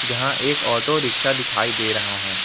जहां एक ऑटो रिक्शा दिखाई दे रहा है।